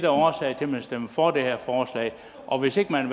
årsagen til at man stemmer for det her forslag og hvis ikke man